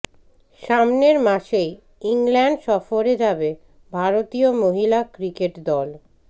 সামনের মাসেই ইংল্যান্ড সফরে যাবে ভারতীয় মহিলা ক্রিকেট দল